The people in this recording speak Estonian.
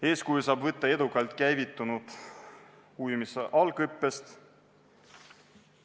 Eeskuju saab võtta edukalt käivitunud ujumise algõppest.